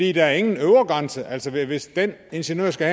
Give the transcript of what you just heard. er ingen øvre grænse altså hvis den ingeniør skal